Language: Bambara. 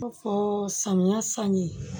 Fɔ samiya san ye